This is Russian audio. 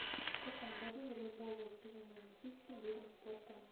в каком году волейбол был признан олимпийским видом спорта